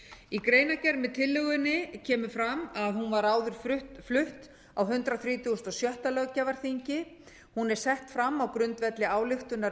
í greinargerð með tillögunni kemur fram að hún var áður flutt á hundrað þrítugasta og sjötta löggjafarþingi hún er sett fram á grundvelli ályktunar